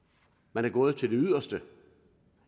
man er gået til det yderste